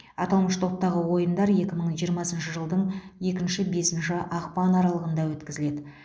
аталмыш топтағы ойындар екі мың жиырмасыншы жылдың екінші бесінші ақпан аралығында өткізіледі